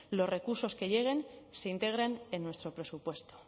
los recursos que lleguen se integren en nuestro presupuesto